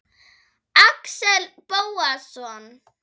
Axel Bóasson